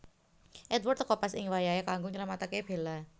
Edward teka pas ing wayahé kanggo nylamataké Bella